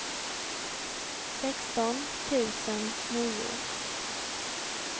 sexton tusen nio